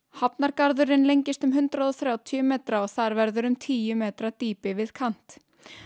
hafnargarðurinn lengist um hundrað og þrjátíu metra og þar verður um tíu metra dýpi við kant